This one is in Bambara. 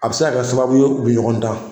A bɛ se' ka kɛ sababu ye u bɛ ɲɔgɔn dan.